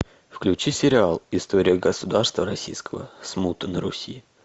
включи сериал история государства российского смута на руси